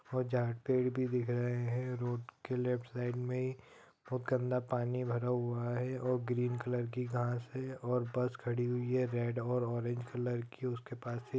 और जहाँ पेड़ भी दिख रहे हैं रोड के लेफ्ट साइड में बहुत गन्दा पानी भरा हुआ है| और ग्रीन कलर की घांस है और बस खड़ी हुई है रेड और ओरेंज कलर की उसके पास ही |